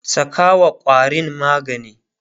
sakawa ƙwarin magani!